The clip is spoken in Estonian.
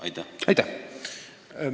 Aitäh!